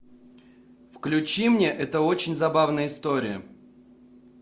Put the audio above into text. включи мне это очень забавная история